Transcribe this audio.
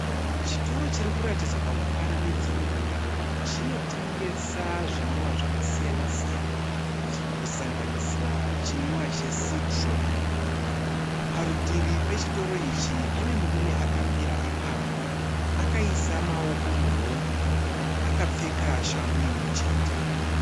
Chitoro chiri kuratidzwa pamufananidzo uyo chinotengesa zvimwiwa zvakasiyana-siyana, kusanganisira chimwiwa cheCitro. Parutivi pechitoro ichi pane murume akamira ipapo, akaisa maoko muhomwe akapfeka shangu imwechete.